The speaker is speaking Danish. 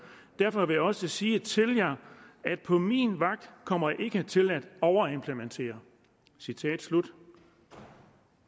derfor vil jeg også sige til jer at på min vagt kommer i ikke til at overimplementere citat slut